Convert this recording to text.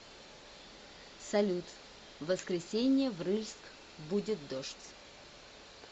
салют в воскресенье в рыльск будет дождь